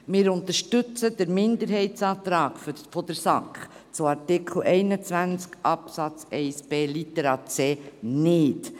Wir unterstützen den Minderheitsantrag der SAK zu Artikel 21 Absatz 1b Littera c nicht.